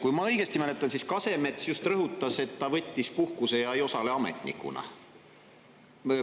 Kui ma õigesti mäletan, siis Kasemets just rõhutas, et ta võttis puhkuse ja ei osale ametnikuna.